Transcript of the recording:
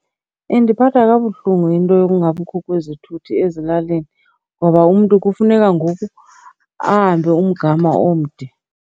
Indiphatha kabuhlungu into yokungabikho kwezithuthi ezilalini ngoba umntu kufuneka ngoku ahambe umgama omde.